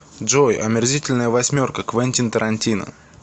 джой омерзительная восьмерка квентин тарантино